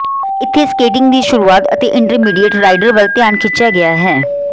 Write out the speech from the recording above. ਇੱਥੇ ਸਕੇਟਿੰਗ ਦੀ ਸ਼ੁਰੂਆਤ ਅਤੇ ਇੰਟਰਮੀਡੀਏਟ ਰਾਈਡਰ ਵੱਲ ਧਿਆਨ ਖਿੱਚਿਆ ਗਿਆ ਹੈ